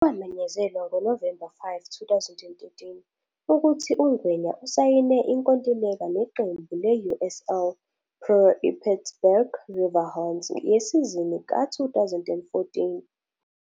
Kwamenyezelwa ngoNovemba 5, 2013, ukuthi uNgwenya usayine inkontileka neqembu le-USL Pro iPittsburgh Riverhounds yesizini ka-2014.